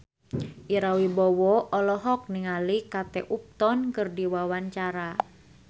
Ira Wibowo olohok ningali Kate Upton keur diwawancara